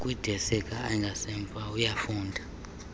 kwidesika engasemva uyafunda